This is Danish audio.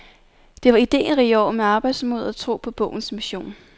Det var iderige år med arbejdsmod og tro på bogens mission.